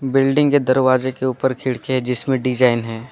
Building के दरवाजे के ऊपर खिड़कियां हैं जिसमें डिजाइन है।